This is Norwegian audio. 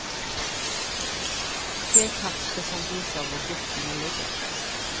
Se kartet som viser hvor guttene ligger.